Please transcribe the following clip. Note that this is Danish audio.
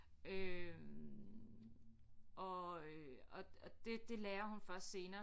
Øh og øh og og det det lærer hun først senere